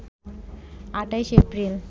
২৮ April